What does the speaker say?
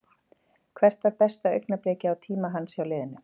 Hvert var besta augnablikið á tíma hans hjá liðinu?